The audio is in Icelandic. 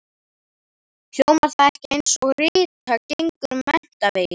Hljómar það ekki einsog Rita gengur menntaveginn?